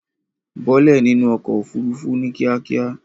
Bọ́ọ́lẹ̀ nínú ọkọ̀ òfurufú ní kíákíá.